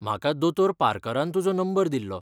म्हाका दोतोर पार्करान तुजो नंबर दिल्लो.